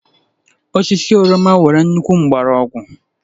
Osisi oroma nwere nnukwu mgbọrọgwụ